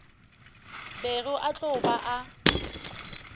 bego a tlo ba a